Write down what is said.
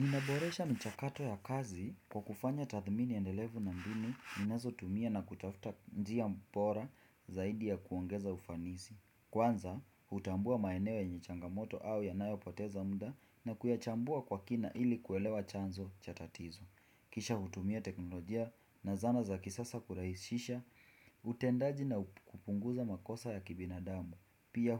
Ninaboresha michakato ya kazi kwa kufanya tathmini endelevu na mbinu, ninazo tumia na kutafuta njia bora zaidi ya kuongeza ufanisi. Kwanza, hutambua maeneo yenye changamoto au yanayo poteza muda na kuyachambua kwa kina ili kuelewa chanzo cha tatizo. Kisha hutumia teknolojia na zana za kisasa kurahisisha, utendaji na kupunguza makosa ya kibinadamu. Pia